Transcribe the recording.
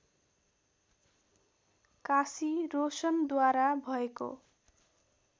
काशी रोशनद्वारा भएको